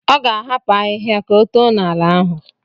Ọ ga-ahapụ ahịhịa ka oto n'ala ahụ.